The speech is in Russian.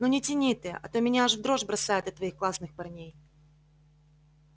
ну не тяни ты а то меня аж в дрожь бросает от твоих классных парней